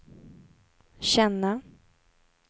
känna